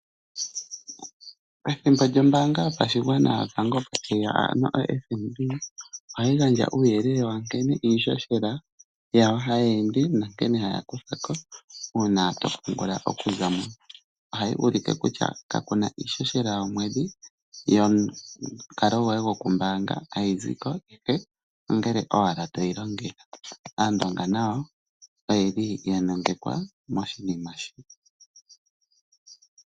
Pethimbo lyombaanga yotango yopashigwana opo tayi ya, ano oFNB ohayi gandja uuyelele wa nkene iihohela yawo hayi ende nankene haya kutha ko uuna to pungula. Ohayi ulike kutya kaku na iihohela yokomwedhi yomukalo goye gokumbaanga uuna to yi longitha, ihe ongele owala toyi longitha. Aandonga nayo oya nongekwa moshinima shika.